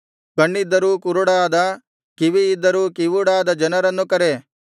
ಕಣ್ಣಿದ್ದರೂ ಕುರುಡಾದ ಕಿವಿಯಿದ್ದರೂ ಕಿವುಡಾದ ಜನರನ್ನು ಕರೆ